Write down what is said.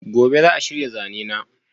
gobe za'a shirya zanena